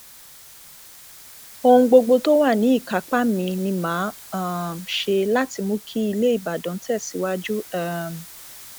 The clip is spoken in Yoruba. ohun gbogbo tó wà ní ìkápá mi ni mà á um ṣe láti mú kí ilé ìbàdàn tẹ síwájú um